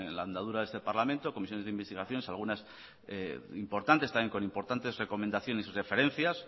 la andadura de este parlamento comisiones de investigación algunas importantes también con importantes recomendaciones y sus referencias